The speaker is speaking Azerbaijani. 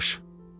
Qaçış.